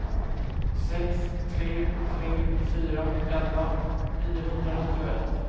sex tre tre fyra elva niohundranittioett